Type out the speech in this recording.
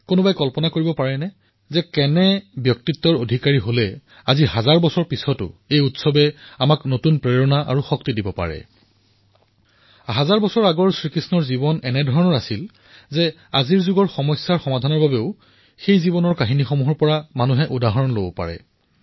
প্ৰত্যেকেই কল্পনা কৰিব পাৰে এয়া কেনেকুৱা ব্যক্তিত্ব যে আজি সহস্ৰ বৰ্ষৰ পিছতো প্ৰতিটো উৎসৱে এটা নতুন ভাৱৰ সৃষ্টি কৰে নতুন প্ৰেৰণা লৈ আহে নতুন শক্তি লৈ আহে আৰু সহস্ৰ বৰ্ষ পুৰণি এই জীৱন এনেকুৱা যে আজিও কোনো সমস্যাৰ সমাধানৰ বাবে উদাহৰণ দিব পাৰি প্ৰেৰণা দিব পাৰি প্ৰত্যেকজন ব্যক্তিয়েই শ্ৰী কৃষ্ণৰ জীৱনৰ পৰা বৰ্তমান সমাজৰ সমাধান সন্ধান কৰিব পাৰে